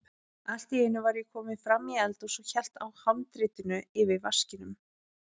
Allt í einu var ég kominn fram í eldhús og hélt á handritinu yfir vaskinum.